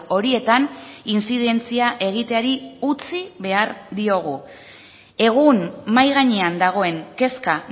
horietan intzidentzia egiteari utzi behar diogu egun mahai gainean dagoen kezka